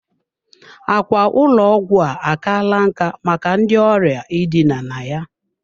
Ákwà ụlọ ọgwụ a akala nkà maka ndị ọrịa idina na ya.